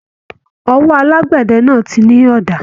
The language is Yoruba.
Ọwọ́ alagbẹdẹ náà tí ní ọ̀dà